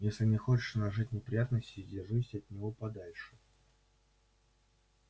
если не хочешь нажить неприятностей держись от него подальше